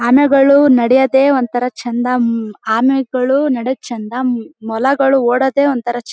ಆನೆಗಳು ನಡೆಯೋದೆ ಒಂತರ ಚಂದ ಆಮೆಗಳು ನಡಿಯೋದ್ ಚಂದ ಮೊಲಗಳು ಓಡೋದ್ ಒಂತರ ಚೆಂದ.